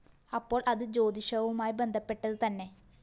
അപ്പോള്‍ അത്‌ ജ്യോതിഷവുമായി ബന്ധപ്പെട്ടത്‌ തന്നെ